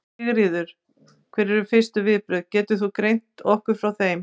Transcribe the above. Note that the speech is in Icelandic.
Sigríður: Hver eru fyrstu viðbrögð, getur þú greint okkur frá þeim?